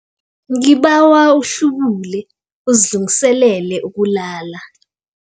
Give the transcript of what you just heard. Ngibawa uhlubule uzilungiselele ukulala.